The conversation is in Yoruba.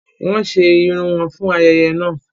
Wọn ṣe irun wọn fún ayẹyẹ náà